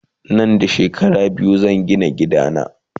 Nan da shekara biyu zan Gina gida na